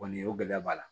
Kɔni o gɛlɛya b'a la